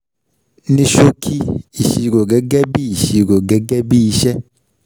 Ní ṣòkì, ìṣirò gẹ́gẹ́ bí ìṣirò gẹ́gẹ́ bí iṣẹ́.